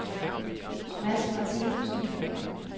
Mads Martinussen